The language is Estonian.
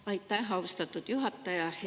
Aitäh, austatud juhataja!